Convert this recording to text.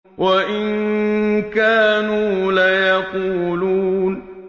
وَإِن كَانُوا لَيَقُولُونَ